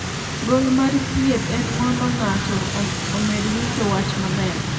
gol mar thieth en mondo ng'ato omed winjo wach maber